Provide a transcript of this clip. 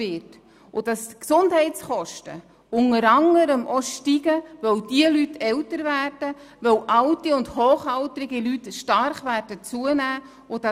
Die Gesundheitskosten steigen unter anderem auch, weil diese Leute älter werden und weil die Anzahl der alten und sehr alten Leute stark zunehmen wird.